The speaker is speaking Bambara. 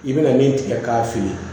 I bɛna min tigɛ k'a feere